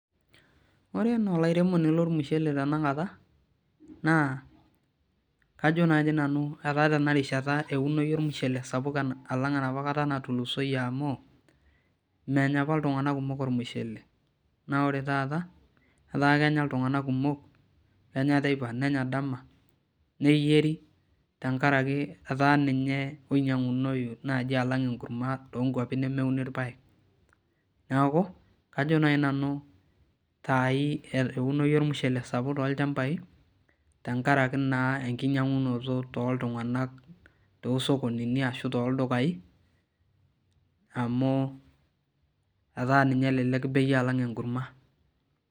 Ore ena olairemoni lormushele tenakata naa kajo nanu tenarishata eunoyu ormushele sapuk alang enapa kata natulusoyie amu ore apa nenya iltunganak kumok ormushele naa ore taata etaa kenya iltunganak kumok ,kenya dama nenya teipa neyieri naaji etaa ninye oinyangunoyu naaji alnga enkurma toonkurman nemeuni irpaek. neeku kajo naaji nanu saai eunoto olchampa sapuk toolchampai tenkaraki naa enkinyangunoto tooltunganak toosokonini ashu toldukai amu etaa ninye elelek bei alang enkurma.